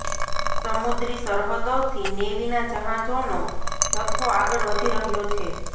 સમુદ્રી સરહદોથી નેવીના જહાજોનો જથ્થો આગળ વધી રહ્યો છે